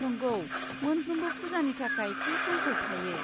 नंगौ, मोनफ्रोमबो फुजानि थाखाय थि समफोर थायो।